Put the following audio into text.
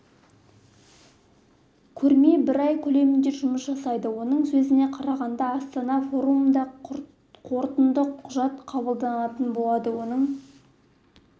көрме бір ай көлемінде жұмыс жасайды оның сөзіне қарағанда астана форумында қорытынды құжат қабылданатын болады оның